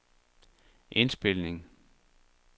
indspilning